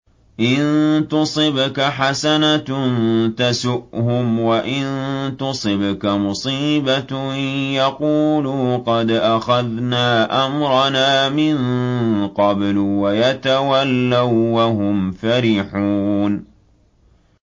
إِن تُصِبْكَ حَسَنَةٌ تَسُؤْهُمْ ۖ وَإِن تُصِبْكَ مُصِيبَةٌ يَقُولُوا قَدْ أَخَذْنَا أَمْرَنَا مِن قَبْلُ وَيَتَوَلَّوا وَّهُمْ فَرِحُونَ